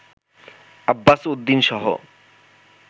Abbas উদ্দিনসহ